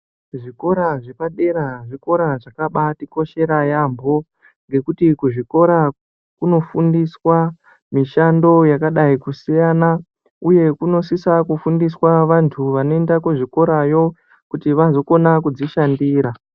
Zvikora zvepadera zvikora zvakabaatikoshera yaambo. Ngekuti kuzvikora kunofundiswa mishando yakadai kusiyana uye kunosisa kufundiswa vantu vanoenda kuzvikorayo kuti vazokona kudzishandira.